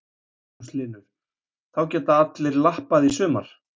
Magnús Hlynur: Þá geta allir lappað í sumar?